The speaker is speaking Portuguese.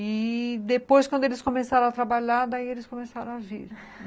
E depois, quando eles começaram a trabalhar, daí eles começaram a vir.